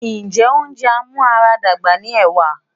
Ǹjẹ́ oúnjẹ amúaradàgbà ni ẹ̀wà?